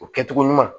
O kɛcogo ɲuman